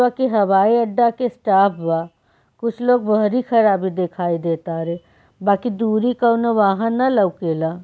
जो की हवाई अड्डा के स्टाफ बा कुछ लोग बहरी खराबी देखाई दे तारे बाकी दूरी कोनो वाहन ने लोकेला।